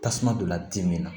Tasuma donna dimi na